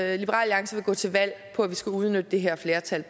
alliance vil gå til valg på at vi skal udnytte det her flertal